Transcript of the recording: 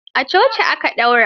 A coci aka daura.